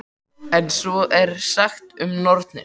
En svo er sagt um nornir.